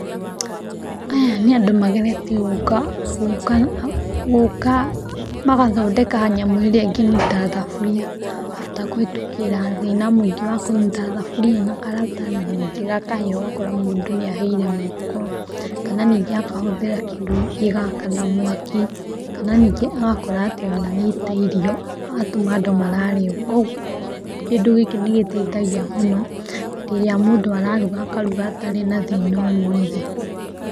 Aya nĩ andũ mageretie gũka magathondeka nyamũ ĩrĩa ingĩnyita thaburia after kũhetũkĩra thĩna mũingĩ wa kũnyita thabũria na karatathi nĩngĩ gakahĩa, ũgakora mũndũ nĩ ahĩire moko, kana nĩngĩ akahũthĩra kĩndũ gĩgakana mwaki, kana nĩngĩ agakora atĩ nĩaita irio agatũma andũ marare ũguo. Koguo kĩndũ gĩkĩ nĩ gĩteithagia mũno rĩrĩa mũndũ araruga atarĩ na thĩna o wothe.